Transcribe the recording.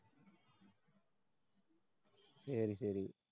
சரி, சரி.